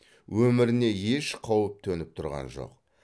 өміріне еш қауіп төніп тұрған жоқ